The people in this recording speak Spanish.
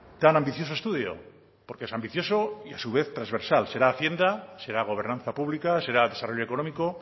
tan ambicioso estudio porque es ambicioso y a su vez transversal será hacienda será gobernanza publica será desarrollo económico